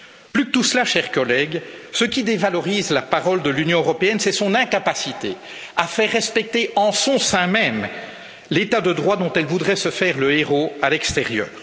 Plus que tout cela, chers collègues, ce qui dévalorise la parole de l'Union européenne, c'est son incapacité à faire respecter en son sein même l'état de droit dont elle voudrait se faire le héraut à l'extérieur.